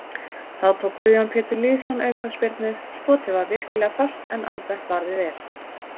Þá tók Guðjón Pétur Lýðsson aukaspyrnu, skotið var virkilega fast en Albert varði vel.